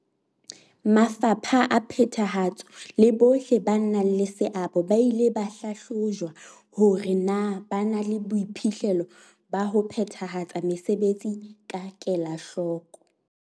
Mafapha a phethahatso le bohle ba nang le seabo ba ile ba hlahlojwa hore na ba na le boiphihlelo ba ho phethahatsa mesebetsi ka kelahloko.